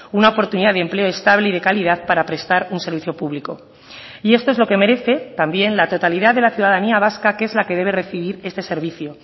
una oportunidad de empleo estable y de calidad para prestar un servicio público y esto es lo que merece también la totalidad de la ciudadanía vasca que es la que debe recibir este servicio